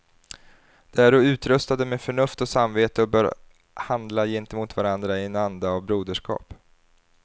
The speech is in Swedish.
De äro utrustade med förnuft och samvete och böra handla gentemot varandra i en anda av broderskap.